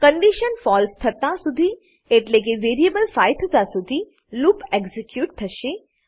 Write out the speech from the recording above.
condition falseથતા સુધી એટલેકે વેરીએબલ 5 થતા સુધી લૂપ એક્ઝીક્યુટ થશે